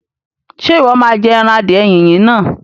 Ṣé Ìwọ́ má jẹ ẹran adìẹ Yínyin náà?